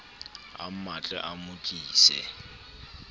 a mmatle a mo tlise